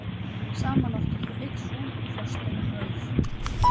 Saman áttu þau einn son, Þorstein rauð.